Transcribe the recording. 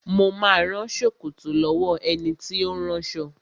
Mo ma rán ṣòkòtò lọ́wọ́ ẹni tí ó ń ránṣọ